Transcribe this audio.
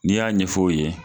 N'i y'a ɲɛfɔ o ye